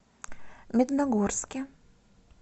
медногорске